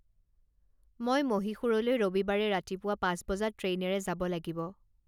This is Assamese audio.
মই মহীশূৰলৈ ৰবিবাৰে ৰাতিপুৱা পাঁচ বজাত ট্ৰেইনেৰে যাব লাগিব